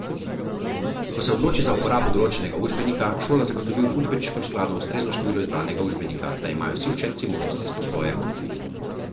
Ko se odloči za uporabo določenega učbenika, šola zagotovi v učbeniškem skladu ustrezno število izbranega učbenika, da imajo vsi učenci možnost izposoje.